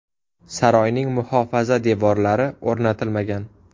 Saroyning muhofaza devorlari o‘rnatilmagan.